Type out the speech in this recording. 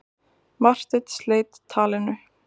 Marteinn sleit talinu.